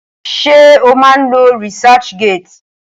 Ṣé o má ń lo researchgate?